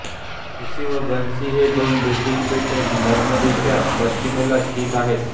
Jersey व Guernsey ही दोन ब्रिटिश बेटे नॉर्मंदीच्या पश्चिमेला स्थित आहेत